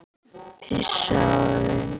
Pissaðu á þig.